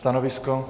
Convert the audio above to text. Stanovisko?